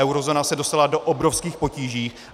Eurozóna se dostala do obrovských potíží.